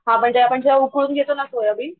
हा म्हणजे आपण जेव्हा उकळून घेतुना सोयाबीन